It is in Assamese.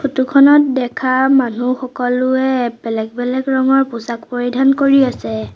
ফটো খনত দেখা মানু্হ সকলোৱে বেলেগ বেলেগ ৰঙৰ পোছাক পৰিধান কৰি আছে।